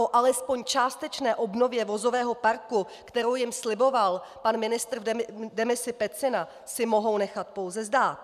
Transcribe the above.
O alespoň částečné obnově vozového parku, kterou jim sliboval pan ministr v demisi Pecina, si mohou nechat pouze zdát.